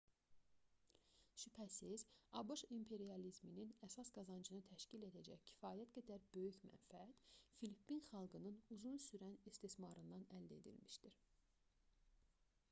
şübhəsiz abş imperializminin əsas qazancını təşkil edəcək kifayət qədər böyük mənfəət filippin xalqının uzun sürən istismarından əldə edilmişdi